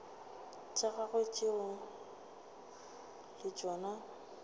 tša gagwe tšeo le tšona